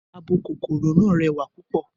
Abo kòkòrò náà rẹwà púpò.